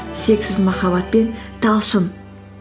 шексіз махаббатпен талшын